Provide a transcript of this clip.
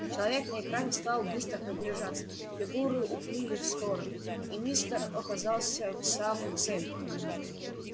человек на экране стал быстро приближаться фигуры уплыли в стороны и мистер оказался в самом центре